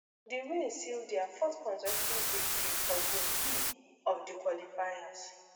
di win seal dia fourth consecutive victory for group e of di qualifiers